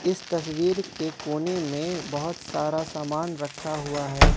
इस तस्वीर के कोने में बहोत सारा सामान रखा हुआ है।